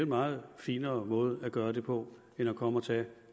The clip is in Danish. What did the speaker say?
meget finere måde at gøre det på end at komme og tage